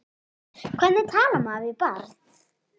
Hvernig talar maður við barn?